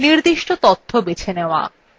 নির্দিষ্ট তথ্য বেছে নেওয়া